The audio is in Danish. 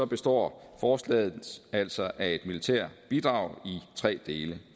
består forslaget altså af et militært bidrag i tre dele